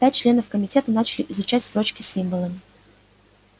пять членов комитета начали изучать строчки с символами